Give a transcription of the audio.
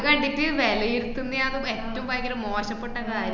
ഇത് കണ്ടിട്ട് വെലയിരുത്തുന്നയേണ് ഏറ്റോം ബയങ്കരം മോശപ്പെട്ട കാര്യം